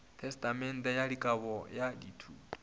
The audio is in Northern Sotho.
tesetamente ya kabo ya dithoto